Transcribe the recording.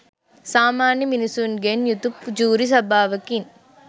සාමාන්‍ය මිනිසුන්ගෙන් යුතු ජූරි සභාවකින්.